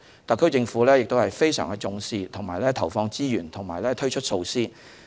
特區政府非常重視這方面的工作，並投放資源和推出措施。